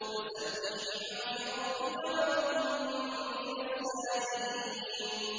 فَسَبِّحْ بِحَمْدِ رَبِّكَ وَكُن مِّنَ السَّاجِدِينَ